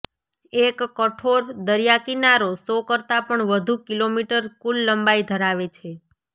એક કઠોર દરિયાકિનારો સો કરતાં પણ વધુ કિલોમીટર કુલ લંબાઈ ધરાવે છે